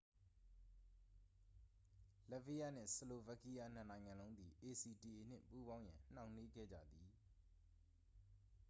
လတ်ဗီးယားနှင့် ဆလိုဗက်ကီးယား နှစ်နိုင်ငံလုံးသည် acta နှင့် ပူးပေါင်းရန် နှောင့်နှေးခဲ့ကြသည်